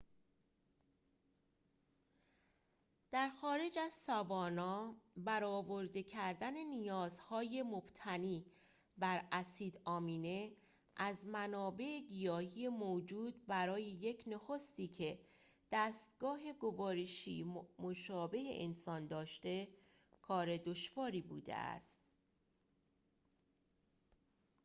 در خارج از ساوانا برآورده کردن نیازهای مبتنی بر اسید آمینه از منابع گیاهی موجود برای یک نخستی که دستگاه گوارشی مشابه انسان داشته کار دشواری بوده است